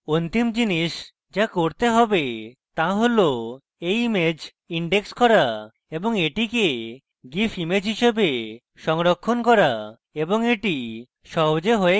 অন্তিম জিনিস the করতে save the হল এই image index করা এবং এটিকে gif image হিসাবে সংরক্ষণ করা এবং the সহজে হয়ে গেছে